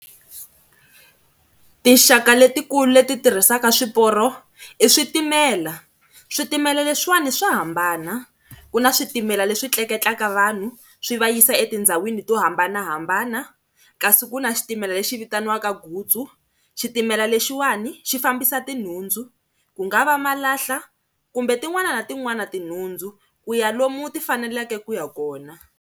Tinxaka letikulu leti tirhisaka swiporo i switimela. Switimela leswiwani swa hambana, ku na switimela leswi tleketlaka vanhu swi va yisa etindhawini to hambanahambana kasi ku na xitimela lexi vitaniwaka gutsu, xitimela lexiwani xi fambisa tinhundzu, ku nga va malahla kumbe tin'wana na tin'wana tinhundzu ku ya lomu ti faneleke ku ya kona.